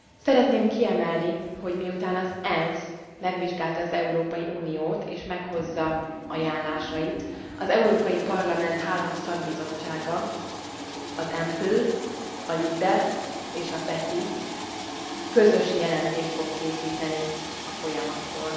Szeretném kiemelni, hogy miután az ENSZ megvizsgálta az Európai Uniót, és meghozza ajánlásait, az Európai Parlament három szakbizottsága, az EMPL, a LIBE és a PETI közös jelentést fog készíteni a folyamatról.